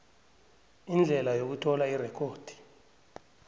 indlela yokuthola irekhodi